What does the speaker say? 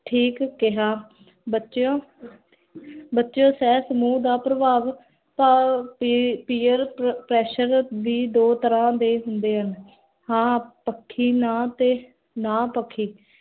ਠੀਕ ਕੇਹਾ ਬਚਿਓ ਬਚੇਓ ਸੇਹ ਸਮੂਹ ਦਾ ਪ੍ਰਭਾਵ ਤਾਂ peer pressure ਵੀ ਦੋ ਤਰਹ ਦੇ ਹੁੰਦੇ ਹਨ ਹਾਂ ਪਾਖੀ ਨਾ ਤੇ ਨਾ ਪਖੀ